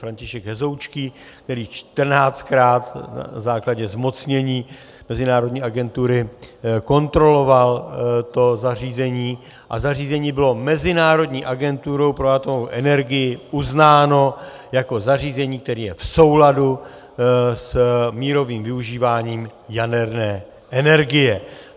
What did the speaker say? František Hezoučký, který čtrnáctkrát na základě zmocnění mezinárodní agentury kontroloval to zařízení, a zařízení bylo Mezinárodní agenturou pro atomovou energii uznáno jako zařízení, které je v souladu s mírovým využíváním jaderné energie.